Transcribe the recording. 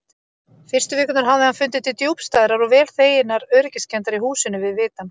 Fyrstu vikurnar hafði hann fundið til djúpstæðrar og vel þeginnar öryggiskenndar í húsinu við vitann.